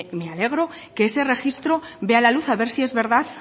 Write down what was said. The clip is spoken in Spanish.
me alegro que ese registro vea la luz a ver si es verdad